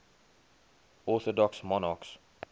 orthodox monarchs